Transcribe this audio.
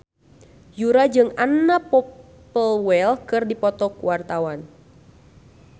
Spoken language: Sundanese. Yura jeung Anna Popplewell keur dipoto ku wartawan